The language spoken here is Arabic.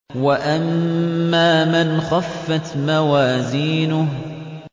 وَأَمَّا مَنْ خَفَّتْ مَوَازِينُهُ